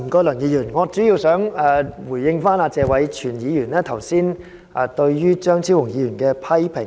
梁議員，我主要想回應謝偉銓議員剛才對張超雄議員的批評。